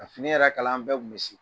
Ka fini yɛrɛ kalan an bɛɛ kun bɛ se